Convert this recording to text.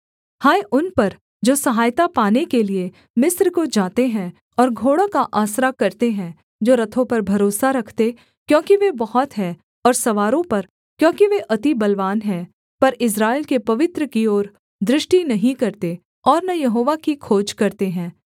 हाय उन पर जो सहायता पाने के लिये मिस्र को जाते हैं और घोड़ों का आसरा करते हैं जो रथों पर भरोसा रखते क्योंकि वे बहुत हैं और सवारों पर क्योंकि वे अति बलवान हैं पर इस्राएल के पवित्र की ओर दृष्टि नहीं करते और न यहोवा की खोज करते हैं